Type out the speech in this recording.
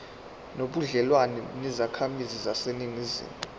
nobudlelwane nezakhamizi zaseningizimu